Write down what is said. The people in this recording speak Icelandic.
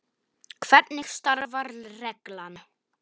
Hvernig starfar reglan?